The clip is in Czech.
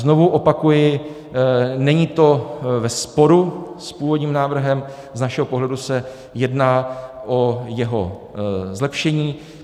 Znovu opakuji, není to ve sporu s původním návrhem, z našeho pohledu se jedná o jeho zlepšení.